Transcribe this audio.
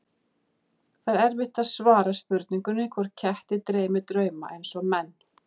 Það er erfitt að svara spurningunni hvort ketti dreymi drauma eins og menn.